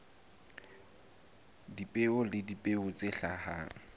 dipeo le dipeo tse hlahang